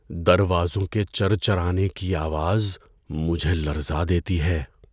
دروازوں کے چرچرانے کی آواز مجھے لرزا دیتی ہے۔